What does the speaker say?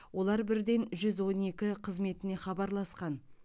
олар бірден жүз он екі қызметіне хабарласқан